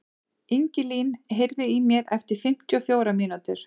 Ingilín, heyrðu í mér eftir fimmtíu og fjórar mínútur.